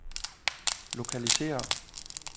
lokalisér